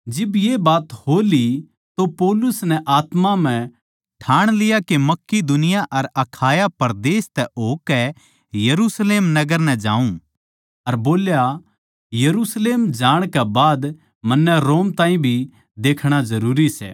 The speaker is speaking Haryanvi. जिब ये बात हो ली तो पौलुस नै आत्मा म्ह ठाणा के मकिदुनिया अर अखाया परदेस तै होकै यरुशलेम नगर नै जाऊँ अर बोल्या यरुशलेम जाणकै बाद मन्नै रोम ताहीं भी देखणा जरूरी सै